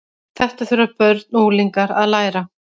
Þetta þurfa börn og unglingar að læra.